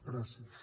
gràcies